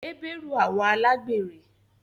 Heberu àwọn alagberẹ